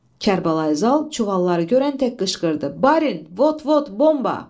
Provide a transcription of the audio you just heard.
Kərbəlayi Zal çuvalları görən tək qışqırdı: Barin, vot-vot, bomba!